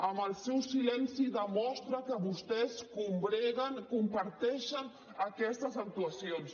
amb el seu silenci demostra que vostès combreguen comparteixen aquestes actuacions